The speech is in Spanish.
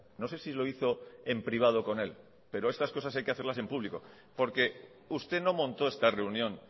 no sé si lo hizo en privado con él pero estas cosas hay que hacerlas en público porque usted no montó esta reunión